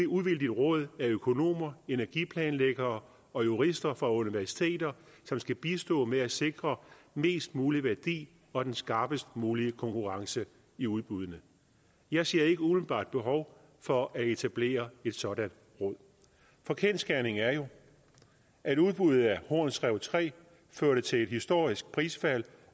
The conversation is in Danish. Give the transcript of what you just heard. uvildigt råd af økonomer energiplanlæggere og jurister fra universiteter som skal bistå med at sikre mest mulig værdi og den skarpest mulige konkurrence i udbuddene jeg ser ikke umiddelbart behov for at etablere et sådant råd for kendsgerningen er jo at udbuddet af horns rev tre førte til et historisk prisfald